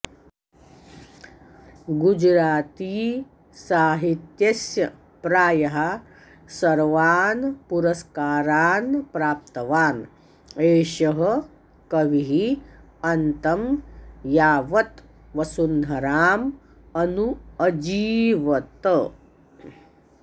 गुजराती साहित्यस्य प्रायः सर्वान पुरस्कारान् प्राप्तवान् एषः कविः अन्तं यावत वसुन्धराम अनु अजीवत